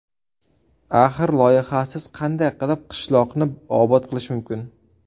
Axir, loyihasiz qanday qilib qishloqni obod qilish mumkin?